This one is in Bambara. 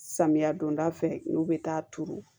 Samiya donda fɛ n'u bɛ taa turu